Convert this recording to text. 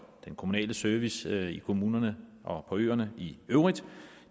den kommunale service i kommunerne og på øerne i øvrigt